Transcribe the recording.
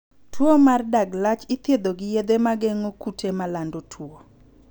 Tuo mar dag lach ithietho gi yedhe mageng'o kute malando tuo.